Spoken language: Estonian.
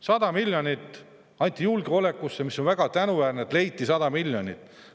100 miljonit anti julgeolekusse ja ongi väga tänuväärne, et leiti 100 miljonit.